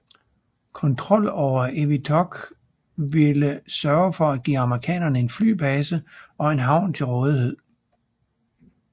Kontrol over Eniwetok ville sørge for at give amerikanerne en flybase og en havn til rådighed